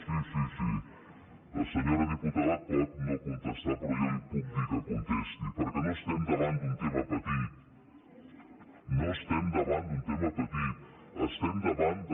sí sí sí la senyora diputada pot no contestar però jo li puc dir que contesti perquè no estem davant d’un tema petit no estem davant d’un tema petit estem davant de